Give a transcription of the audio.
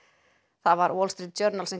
það var Wall Street Journal sem